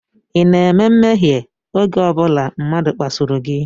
Ị na-eme mmehie oge ọ bụla mmadụ kpasuru gị?